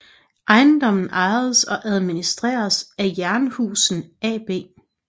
Ejendommen ejes og administreres af Jernhusen AB